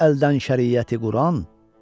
Getdi əldən şəriyəti Quran.